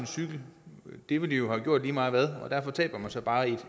cykel ville jo have gjort det lige meget hvad og derfor taber man så bare et